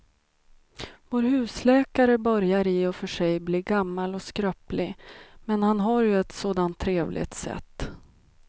Vår husläkare börjar i och för sig bli gammal och skröplig, men han har ju ett sådant trevligt sätt!